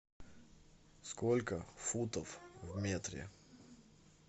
сколько футов в метре